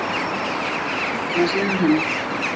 Drengur hjúfraði sig að henni.